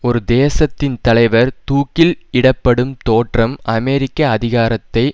ஒரு தேசத்தின் தலைவர் தூக்கில் இடப்படும் தோற்றம் அமெரிக்க அதிகாரத்தை